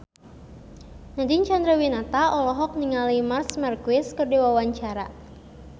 Nadine Chandrawinata olohok ningali Marc Marquez keur diwawancara